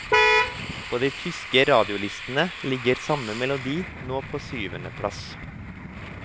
På de tyske radiolistene ligger samme melodi nå på syvende plass.